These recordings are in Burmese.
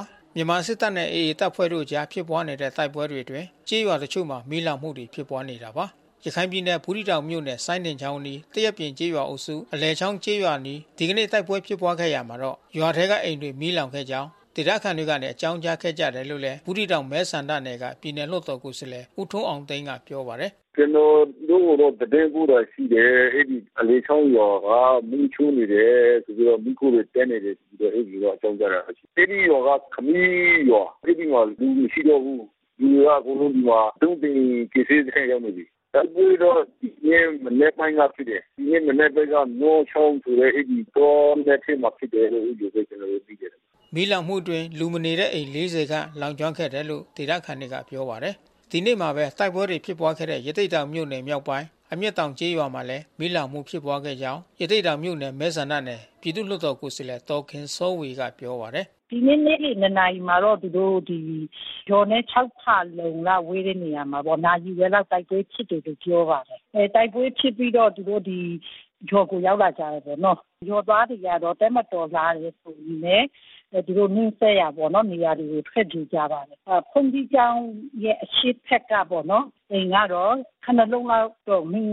ါတယ်။ မြန်မာစစ်တပ်နဲ့ AA တပ်ဖွဲ့တို့အကြား ဖြစ်ပွားနေတဲ့ တိုက်ပွဲတွေအတွင်း ကျေးရွာတချို့မှာ မီးလောင်မှုတွေ ဖြစ်ပွားနေတာပါ။ ရခိုင်ပြည်နယ် ဘူးသီးတောင်မြို့နယ် စိုင်းဒင်ချောင်အနီး၊ သရက်ပြင်ကျေးရွာအုပ်စု အလယ်ချောင်းကျေးရွာအနီး ဒီကနေ့ တိုက်ပွဲဖြစ်ပွားခဲ့ရာမှာ ရွာထဲကအိမ်တွေ မီးလောင်ခဲ့ကြောင်း ဒေသခံတွေက အကြောင်းကြားခဲ့ကြတယ်လို့လည်း ဘူးသီးတောင်မဲဆန္ဒနယ်က ပြည်နယ်လွှတ်တော်ကိုယ်စားလှယ် ဦးထွန်းအောင်သိန်းက ပြောပါတယ်။ “ကျနော်တို့ကို သတင်းပို့တာ ရှိတယ်။ အဲဒီအလယ်ချောင်းရွာက မီးရှို့နေတယ်။ မီးခိုးတွေတက်နေတယ် ဆိုပြီးတော့ အဲဒီလို အကြောင်းကြားလာတယ်။ အဲဒီရွာက ခမီးရွာ။ အဲဒီမှာလူမရှိတော့ဘူး။ လူတွေက ဒီမှာအကုန်လုံး ဒုံးသိန်ကယ်ဆယ်ရေးစခန်းကို ရောက်နေပြီး။ တိုက်ပွဲတော့ဖြစ်တယ်။ မနက်ပိုင်းတော့ ဖြစ်တယ်။ ဒီနေ့အနက်ပိုင်းက မောချောင်းဆိုတဲ့ အဲဒီတောနက်ထဲမှာ ဖြစ်တယ်လို့ အဲဒီလိုပဲ ကျနော်တို့သိတယ်။” မီးလောင်မှုအတွင်း လူမနေတဲ့ အိမ်ခြေ ၄၀ ခန့်လောင်ကျွမ်းခဲ့တယ်လို့ ဒေသခံတွေက ပြောပါတယ်။ ဒီနေ့မှာပဲ တိုက်ပွဲတွေ ဖြစ်ပွားခဲ့တဲ့ ရသေ့တောင်မြို့နယ် မြောက်ပိုင်း အမျက်တောင်ကျေးရွာမှာလည်း မီးလောင်မှု ဖြစ်ခဲ့ကြောင်း ရသေ့တောင်မြို့နယ် မဲဆန္ဒနယ် ပြည်သူ့လွှတ်တော်ကိုယ်စားလှယ် ဒေါ်ခင်စောဝေက ပြောပါတယ်။ “ဒီနေ့နေ့လယ် ၂ နာရီမှာတော့ ရွာနဲ့ ၆ ဖါလုံလောက် ဝေးတဲ့ နေရာမှာပေါ့ နာရီဝက်လောက် တိုက်ပွဲဖြစ်တယ်လို့ ပြောပါတယ်။ တိုက်ပွဲဖြစ်ပြီးတော့ သူတို့ဒီ ရွာကို ရောက်လာကြတယ်ပေါ့။ ရွာသားတွေကျတော့ တပ်မတော်လာတယ်ဆိုရင်ပဲ သူတို့နီးစပ်ရာတွေပေါ့ သူတို့ ထွက်ပြေးကြတယ်။ ဘုန်ကြီးကျောင်းရဲ့ အရှေ့ဘက်ပေါ့နော်... အိမ်ကတော့ ခုနစ် လုံး လောက်တော့ မီး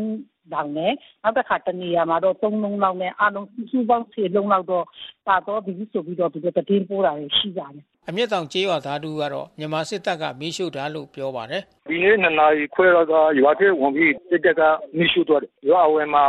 လောင်တယ်။ နောက်တခါ တနေရာမှာတော့ သုံး လုံးလောက်နဲ့ အားလုံးစုစုပေါင်း ဆယ် လုံးလောက်တော့ ပါသွားပြီဆိုပြီးတော့ သူတို့ သတင်းပို့လာတာ ရှိပါတယ်။” အမျက်တောင် ကျေးရွာသား တဦးကတော့ မြန်မာစစ်တပ်က မီးရှို့တာလို့ ပြောပါတယ်။ “ဒီနေ့ ၂ နာရီခွဲလောက်က ရွာထဲဝင်ပြီး စစ်တပ်က မီးရှို့သွားတယ်။ ရွာအဝင်မှာ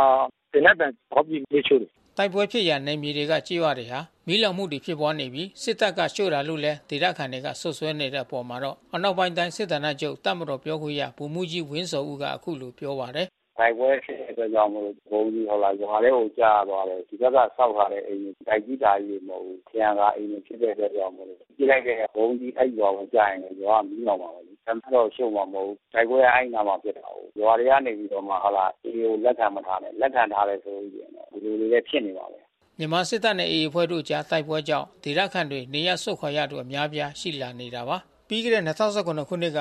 သေနတ်သံဖေါက်ပြီး မီးရှို့တယ်။” တိုက်ပွဲဖြစ်ရာ နယ်မြေတွေက ကျေးရွာတွေမှာ မီးလောင်မှုတွေ ဖြစ်ပွားနေပြီး စစ်တပ်က ရှို့တာလို့လည်း ဒေသခံတွေက စွပ်စွဲနေတဲ့ အပေါ်မှာတော့ အနောက်ပိုင်းတိုင်း စစ်ဌာနချုပ် တပ်မတော်ပြောခွင့်ရ ဗိုလ်မှူးကြီးဝင်းဇော်ဦးက အခုလိုပြောပါတယ်။ “တိုက်ပွဲ ဖြစ်တဲ့အတွက်ကြောင့်မို့လို့ ဗုံးသီးရွာထဲကို ကျသွားလို့ ဒီဘက်က ဆောက်ထားတဲ့ အိမ်တွေ၊ တိုက်ကြီးတာကြီးတွေ မဟုတ်ဘူး။ ထရံကာအိမ်တွေ ဖြစ်တဲ့အတွက်ကြောင့်မို့လို့ ပစ်လိုက်တဲ့ ဗုံးသီး အဲဒီရွာကိုကျရင်လည်း အဲဒီရွာ မီးလောင်မှာပဲ။ တပ်ကတော့ ရှို့မှာ မဟုတ်ဘူး။ တိုက်ပွဲက အဲဒီအနားမှာ ဖြစ်တာကိုး။ ရွာထဲကနေပြီးတော့ဟုတ်လား..... AA တွေကို လက်ခံမထားနဲ့။ လက်ခံထားမယ်ဆိုလို့ ရှိရင်တော့ ဒီလိုလေးပဲ ဖြစ်နေမှာပဲ။” မြန်မာစစ်တပ်နဲ့ AA အဖွဲ့တို့အကြား တိုက်ပွဲကြောင့် ဒေသခံရွာသားတွေ နေရပ်စွန့်ခွာနေရသူအများအပြား ရှိလာနေတာပါ။ ပြီးခဲ့တဲ့၂၀၁၇ ခုနှစ်က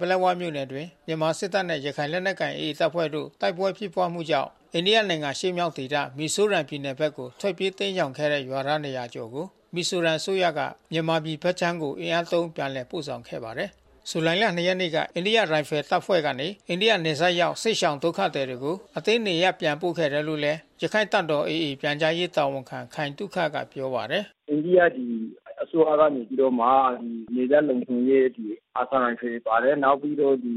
ပလက်ဝမြို့နယ်အတွင်း မြန်မာ့စစ်တပ်နဲ့ ရခိုင်လက်နက်ကိုင် AA တပ်ဖွဲ့တို့ တိုက်ပွဲဖြစ်ပွားမှုကြောင့် အိန္ဒိယနိုင်ငံ အရှေ့မြောက်ဒေသ မီဇိုရမ်ပြည်နယ်ဘက်ကို ထွက်ပြေးတိမ်းရှောင်ခဲ့တဲ့ ရွာသား ၂၀၀ ကျော်ကို မီဇိုရမ်အစိုးရကနေ မြန်မာပြည်ဘက်ခြမ်းကို အင်အားသုံး ပြန်လည်ပို့ဆောင်ခဲ့ပါတယ်။ ဇူလိုင် ၂ ရက်နေ့က အိန္ဒိယရိုင်ဖယ်တပ်ဖွဲ့ကနေ အိန္ဒိယနယ်စပ်ရောက် စစ်ရှောင်ဒုက္ခသည်တွေကို အတင်းနေရပ်ပြန်ပို့ခဲ့တယ်လို့ ရခိုင်တပ်တော် AA ပြန်ကြားရေးတာဝန်ခံ ခိုင်သုခက ပြောပါတယ်။ “အိန္ဒိယပြည် အစိုးရကနေပြီးတော့မှ နယ်စပ်လုံခြုံရေး အာသံရိုင်ဖယ်ပါတယ်။ နောက်ပြီးတော့ဒီ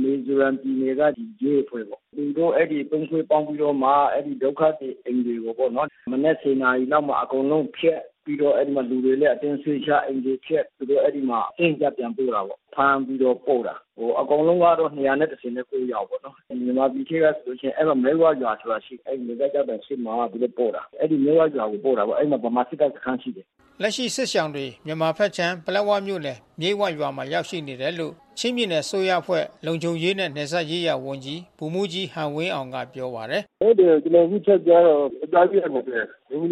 မီဇိုရမ်ပြည်နယ်က ရဲအဖွဲ့ပေါ့။ သူတို့အဲဒီ သုံး အဖွဲ့ပေါင်းပြီးတော့မှ အဲဒီဒုက္ခသည်အိမ်တွေပေါ့နော်... မနက် ၁၀ နာရီလောက်မှာ အကုန်လုံး ဖျက်။ ပြီးတော့လူတွေလည်းအတင်းရွှေ့ချ၊ အိမ်တွေဖျက်။ သူတို့အဲဒီမှာ အတင်းအကျပ် ပြန်ပို့တာပေါ့။ ဖမ်းပြီးတော့ပို့တာ။ အကုန်လုံးကတော့ ၂၁၉ ယောက်ပေါ့နော်။ မြန်မာပြည်ထဲကဆိုရင် မြိတ်ဝဆိုတဲ့ ရွာရှိတယ်။ အဲဒီနယ်စပ်ကျောက်တိုင် ရှေ့မှာ သူတို့ပို့တာ။ အဲဒီမြိတ်ဝဆိုတဲ့ ရွာကို ပို့တာပေါ့။ အဲဒီမှာ ဗမာစစ်တပ်စခန်း ရှိတယ်။” လက်ရှိစစ်ရှောင်တွေ မြန်မာဘက်ခြမ်း ပလက်ဝမြို့နယ် မြိတ်ဝရွာမှာ ရောက်ရှိနေတယ်လို့ ချင်းပြည်နယ် အစိုးရအဖွဲ့လုံခြုံရေးနှင့် နယ်စပ်ရေးရာဝန်ကြီး ဗိုလ်မှူးကြီးဟန်ဝင်းအောင်က ပြောပါတယ်။ “ဟုတ်တယ်။ ကျနော်အခု ထပ်ကြားတာတော့ ယေကျ်ား ၁၂၀၊ အမျိုးသမီးက ၈၀ ။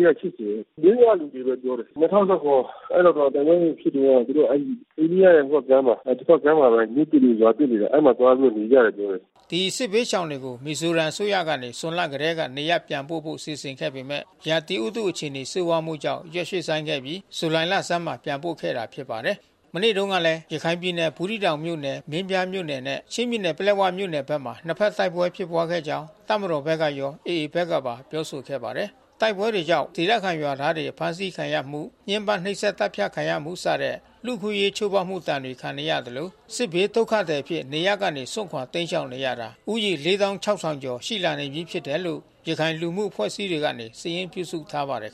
မြိတ်ဝက လူတွေလို့ ပြောတယ်။ ၂၀၁၇ အဲဒီမှာ တိုက်ပွဲတွေဖြစ်တုန်းက သူတို့အဲဒီ အိန္ဒိယနယ်စပ်ကြားမှာ တဘက်ကမ်းမှာပဲ မြို့သစ်တွေ၊ ရွာသစ်တွေ အဲဒီမှာသွားပြီးတော့ နေကြတယ်။” ဒီ စစ်ဘေးရှောင်ပြည်သူတွေကို မီဇိုရမ်ပြည်နယ် အစိုးရကနေ ဇွန်လကတည်းက နေရပ်ပြန်ပို့ဖို့ စီစဉ်ခဲ့ပေမဲ့ ရာသီဥတု အခြေအနေ ဆိုးဝါးမှုကြောင့် ရက်ရွှေ့ဆိုင်းခဲ့ပြီး ဇူလိုင်လဆန်းမှာမှ ပြန်ပို့ခဲ့တာ ဖြစ်ပါတယ်။ မနေ့တုန်းကလည်း ရခိုင်ပြည်နယ် ဘူးသီးတောင်မြို့နယ် မင်းပြားမြို့နယ်နဲ့ ချင်းပြည်နယ်ပလက်ဝမြို့နယ်ဘက်မှာ နှစ်ဘက် တိုက်ပွဲဖြစ်ခဲ့ကြောင်း တပ်မတော်ဘက်ကရော AA ဘက်ကပါပြောဆိုခဲ့ပါတယ်။ တိုက်ပွဲတွေကြောင့် ဒေသခံရွာသားတွေ အဖမ်းဆီးခံရမှု ညှင်းပမ်းနှိပ်စက် သတ်ဖြတ်ခံရမှုစတဲ့ လူ့အခွင့်အရေးချိုးဖေါက်မှု ဒဏ်ခံနေရသလို စစ်ဘေးဒုက္ခသည်အဖြစ် နေရပ်ကနေစွန့်ခွာတိမ်းရှောင်နေရတာ ဦးရေ ၄၆,၀၀၀ ကျော် ရှိလာနေပြီး ဖြစ်တယ်လို့ ရခိုင်လူမှုအဖွဲ့အစည်းတွေက စာရင်းပြုစုထားပါတယ်